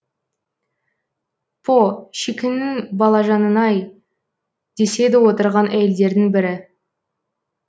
по шикіннің балажанын ай деседі отырған әйелдердің бірі